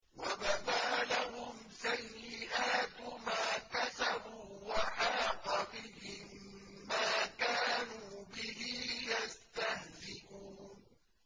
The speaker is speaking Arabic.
وَبَدَا لَهُمْ سَيِّئَاتُ مَا كَسَبُوا وَحَاقَ بِهِم مَّا كَانُوا بِهِ يَسْتَهْزِئُونَ